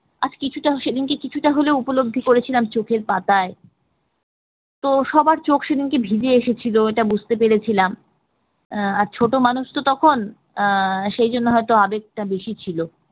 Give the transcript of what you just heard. আর কিছুটা সেদিনকে কিছুটা হলেও উপলব্ধি করেছিলাম চোখের পাতায়, তো সবার চোখ সেদিন ভিজে এসেছিল এটা বুঝতে পেরেছিলাম আহ ছোট মানুষ তো তখন আহ সেই জন্য হয়তো আবেগটা বেশি ছিল